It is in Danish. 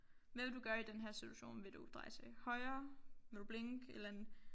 Hvad vil du gøre i den her situation vil du dreje til høre vil du blinke et eller andet